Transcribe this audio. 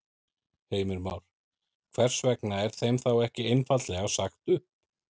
Heimir Már: Hvers vegna er þeim þá ekki einfaldlega sagt upp?